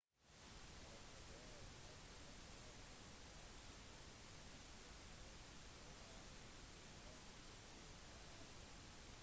maroochydore hadde gjort seg ferdig på toppen 6 poeng foran noosa på 2. plass